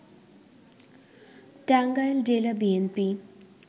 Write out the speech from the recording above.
টাঙ্গাইল জেলা বিএনপি